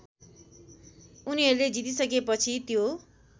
उनीहरूले जितिसकेपछि त्यो